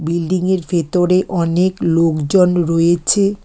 Building -য়ের ভেতরে অনেক লোকজন রয়েছে।